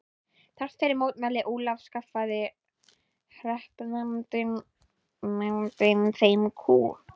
Þrátt fyrir mótmæli Ólafs skaffaði hreppsnefndin þeim kú.